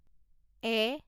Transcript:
এ